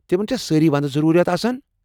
تِمن چھا سٲری ونٛدٕ ضروٗرِیات آسان؟